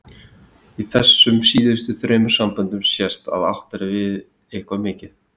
Í þessum síðustu þremur samböndum sést að átt er við eitthvað mikið.